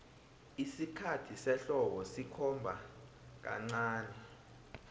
isikhathi sehlobo sikhomba kancani